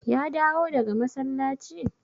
Ya dawo daga masallaci?